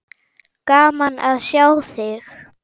Gaman að sjá þig.